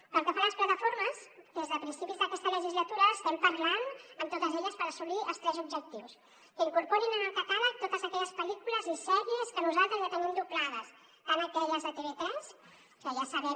pel que fa a les plataformes des de principis d’aquesta legislatura estem parlant amb totes elles per assolir tres objectius que incorporin en el catàleg totes aquelles pel·lícules i sèries que nosaltres ja tenim doblades tant aquelles de tv3 que ja sabem